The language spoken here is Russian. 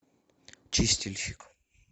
чистильщик